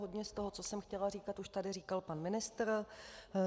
Hodně z toho, co jsem chtěla říkat, už tady říkal pan ministr.